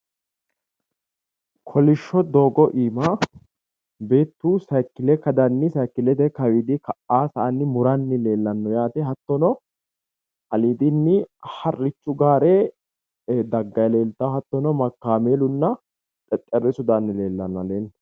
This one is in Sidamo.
Kolishsho doogo iima beettu sayiikile kadanni sayikilete kawiidi ka''aa sa'anni muranni leellanno yaate hattono aliidinni harrichu gaare dagganni leeltanno hattono kaameelunna xexxerrisu daanni leellanno aleenni.